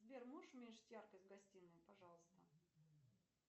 сбер можешь уменьшить яркость в гостиной пожалуйста